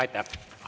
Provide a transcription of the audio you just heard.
Aitäh!